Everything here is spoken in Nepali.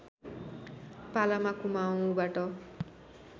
पालामा कुमाउँबाट